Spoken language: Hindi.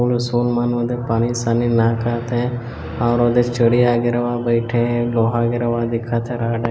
पानी शानी ना कहत हैै और ओदे चोरिया वगैरा वहा बैठे है लोहा वगेरा वहा दिखत हे राड हैै ।